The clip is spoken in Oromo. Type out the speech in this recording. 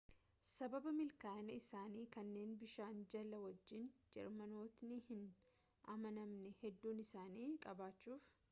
sababaa milkaa'ina isaanii kanneen bishaan jala wajjin jeermanootni hin amanamne hedduu isaanii qabachuf